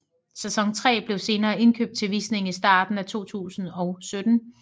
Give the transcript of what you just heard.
Sæson 3 blev senere indkøbt til visning i starten af 2017